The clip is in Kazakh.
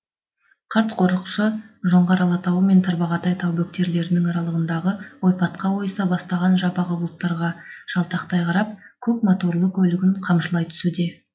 қарт қорықшы жоңғар алатауы мен тарбағатай тау бөктерлерінің аралығындағы ойпатқа ойыса бастаған жабағы бұлттарға жалтақтай қарап көк мо торлы көлігін қамшылай түсуде